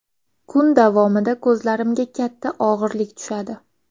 Kun davomida ko‘zlarimizga katta og‘irlik tushadi.